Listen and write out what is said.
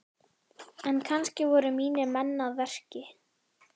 En kannski voru mínir menn að verki?